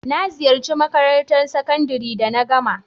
Na ziyace makarantan sakandare da na gama.